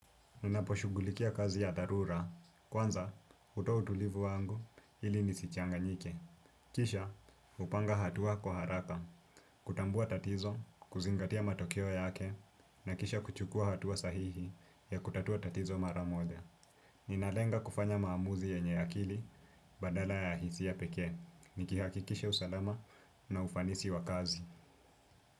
Ninaposhugulikia kazi ya darura. Kwanza, hutoa utulivu wangu ili nisichanganyike. Kisha, hupanga hatua kwa haraka, kutambua tatizo, kuzingatia matokeo yake, na kisha kuchukua hatua sahihi ya kutatua tatizo mara moja. Ninalenga kufanya maamuzi yenye akili badala ya hisia pekee. Nikihakikisha usalama na ufanisi wa kazi.